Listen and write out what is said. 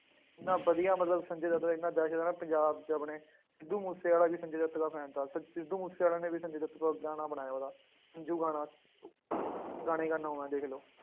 ਇੰਨਾ ਵਧੀਆ ਮਤਲਬ ਸੰਜੇ ਦੱਤ ਨੇ ਇੰਨਾ ਵੈਸੇ ਤਾਂ ਨਾ ਪੰਜਾਬ 'ਚ ਆਪਣੇ ਸਿੱਧੂ ਮੂਸੇਵਾਲਾ ਵੀ ਸੰਜੇ ਦੱਤ ਦਾ fan ਥਾ, ਸ~ ਸਿੱਧੂ ਮੂਸੇਵਾਲੇ ਨੇ ਵੀ ਸੰਜੇ ਦੱਤ ਤੇ ਗਾਣਾ ਬਣਾਇਆ ਉਹਦਾ ਸੰਜੂ ਗਾਣਾ ਗਾਣੇ ਗਾਨਾ ਦੇਖ ਲਓ।